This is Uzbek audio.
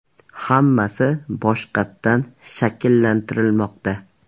Hammasi boshqatdan shakllantirilmoqda.